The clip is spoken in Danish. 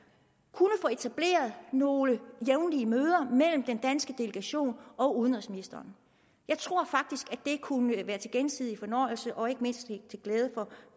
kunne få etableret nogle jævnlige møder mellem den danske delegation og udenrigsministeren jeg tror faktisk at det kunne være til gensidig fornøjelse og ikke mindst til glæde